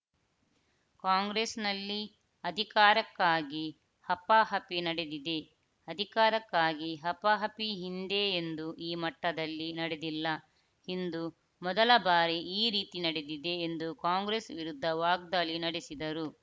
ಕಾಂಗ್ರೆಸ್‌ನಲ್ಲಿ ಅಧಿಕಾರಕ್ಕಾಗಿ ಹಪಾಹಪಿ ನಡೆದಿದೆ ಅಧಿಕಾರಕ್ಕಾಗಿ ಹಪಾಹಪಿ ಹಿಂದೆ ಎಂದೂ ಈ ಮಟ್ಟದಲ್ಲಿ ನಡೆದಿಲ್ಲ ಇಂದು ಮೊದಲ ಬಾರಿ ಈ ರೀತಿ ನಡೆದಿದೆ ಎಂದು ಕಾಂಗ್ರೆಸ್‌ ವಿರುದ್ಧ ವಾಗ್ದಾಳಿ ನಡೆಸಿದರು